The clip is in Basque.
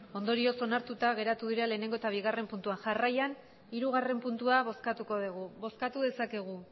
ondorioz onartuta geratu dira lehenengo eta bigarren puntuak jarraian hirugarren puntua bozkatuko dugu bozkatu dezakegu